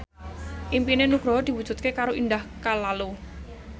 impine Nugroho diwujudke karo Indah Kalalo